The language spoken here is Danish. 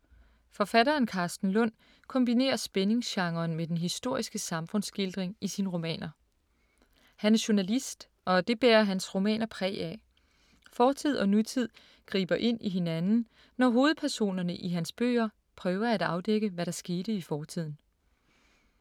Forfatteren Karsten Lund kombinerer spændingsgenren med den historiske samfundsskildring i sine romaner. Han er journalist, og det bærer hans romaner præg af. Fortid og nutid griber ind i hinanden, når hovedpersonerne i hans bøger prøver at afdække, hvad der skete i fortiden.